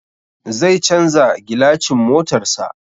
Zai canza gilacin motarsa.